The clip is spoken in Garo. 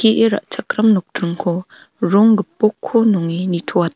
ra·chakram nokdringko rong gipokko nonge nitoata--